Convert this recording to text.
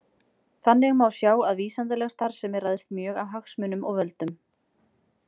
Þannig má sjá að vísindaleg starfsemi ræðst mjög af hagsmunum og völdum.